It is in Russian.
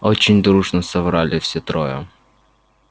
очень дружно соврали все трое